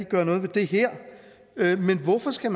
gøre noget ved det her men hvorfor skal